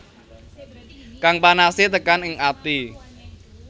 Kang panase tekan ing ati